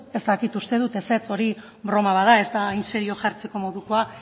ez dakit uste dut ezetz hori broma bat da ez da hain serio jartzeko modukoa